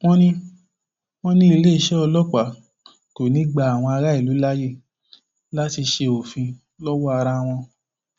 wọn ní wọn ní iléeṣẹ ọlọpàá kò ní í gba àwọn aráàlú láàyè láti ṣe òfin lọwọ ara wọn